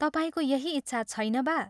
तपाईंको यही इच्छा छैन बा?